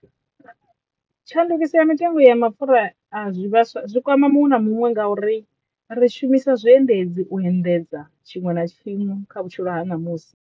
Tshandukiso ya mitengo ya mapfhura a zwi vhaswa zwi kwama muṅwe na muṅwe nga uri ri shumisa zwiendedzi u endedza tshiṅwe na tshiṅwe kha vhutshilo ha ṋamusi.